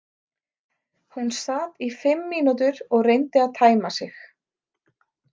Hún sat í fimm mínútur og reyndi að tæma sig.